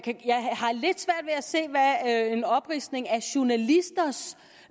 se hvad en opridsning af journalisters